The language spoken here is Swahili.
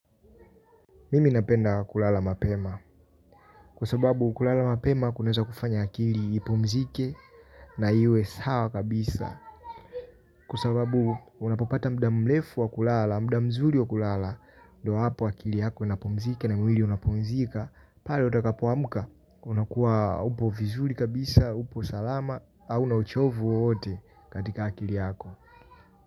Mimi napenda kulala mapema. Kusababu kulala mapema kuneza kufanya akili ipumzike na iwe sawa kabisa. Kwa sababu unapopata mda mlefu wa kulala, mda mzuri wa kulala ndo hapo akili yako inapumzika na mwili unapumzika. Pale utakapoamuka, unakuwa upo vizuri kabisa, upo salama. Auna uchovu wote katika akili yako.